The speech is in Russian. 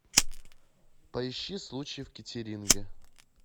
поищи случай в кеттеринге